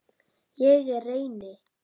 Ég reyni.